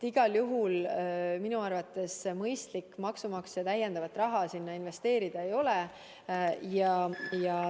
Igal juhul, minu arvates ei ole mõistlik sinna maksumaksja raha täiendavat investeerida.